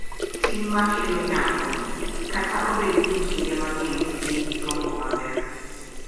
Tim ma kelo nyalo, kata obedo ni kinde mang’eny gin gi gombo maber,